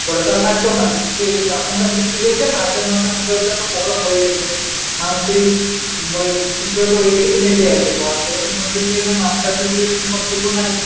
পরে তো আর থাকতো না কিন্তু এই এখনকার দিনে কি হয়েছে মাঝেমধ্যে মাঝেমধ্যে একটা program হয়ে যাচ্ছে মানুষের ওই শিশুরা তো ওইদিকেই মেতে আছে পড়ার দিকে তো মনোযোগ দেয় না মাস্টারদের সেই রকম কর্তব্য নাই